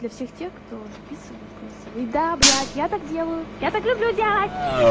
для всех тех кто записывает голосовые да блять я так делаю я так люблю делать